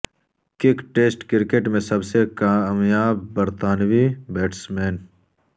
kick test cricket میں سب سے کامیاب برطانوی بیٹسمین